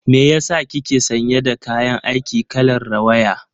Me yasa kike sanye da kayan aiki kalar rawaya?